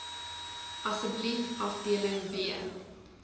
asseblief afdeling b